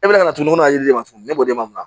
E bɛ ka to ne n'a jiriden kama ne b'o de mara